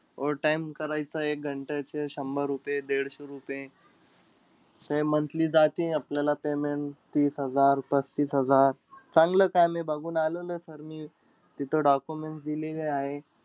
Overtime करायचा एक घंटे चे शंभर रुपये-दीडशे रुपये. Monthly जाते आपल्याला payement तीस हजार-पस्तीस हजार. चांगलं काम आहे बघून आलेलोय sir मी. तिथं documents देऊन आलेलो आहे मी.